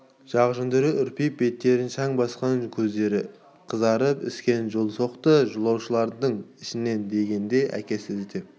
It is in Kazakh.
жақ жүндері үрпиіп беттерін шаң басқан көздері қызарып іскен жолсоқты жолаушылардың ішінен дегенде әкесі іздеп